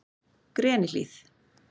Grenihlíð